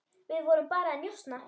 Við vorum bara að njósna,